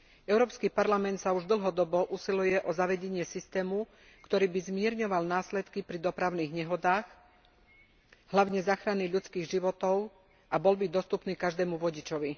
Európsky parlament sa už dlhodobo usiluje ozavedenie systému, ktorý by zmierňoval následky pri dopravných nehodách, hlavne záchrany ľudských životov abol by dostupný každému vodičovi.